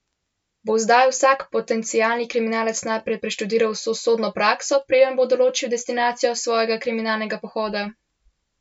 Bo zdaj vsak potencialni kriminalec najprej preštudiral vso sodno prakso, preden bo določil destinacijo svojega kriminalnega pohoda?